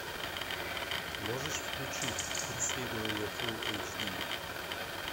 можешь включить преследование фулл эйч ди